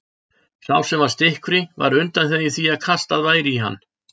Sá sem var stikkfrí var undanþeginn því að kastað væri í hann.